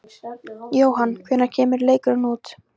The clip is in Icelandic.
Jóhann: Hvenær kemur leikurinn út?